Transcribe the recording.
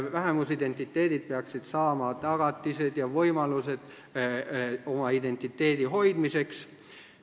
Vähemusidentiteedid peaksid saama tagatised ja võimalused oma identiteedi hoidmiseks.